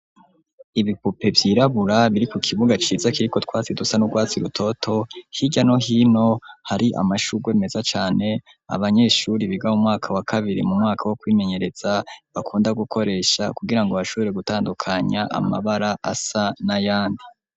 Ibipupe vyirabura biri ku kibuga ciza kiriko utwazi dusa n'urwatsi rutoto, hirya no hino hari amashurwe meza cane, abanyeshure biga mu mwaka wa kabiri mu mwaka wo kwimenyereza, bakunda gukoresha kugira ngo bashobore gutandukanya amabara asa n'ayandi.